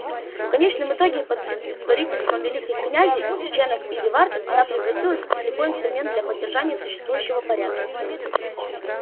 в конечном итоге под предводительством великих князей ченов и дивартов она превратилась в слепой инструмент для поддержания существующего порядка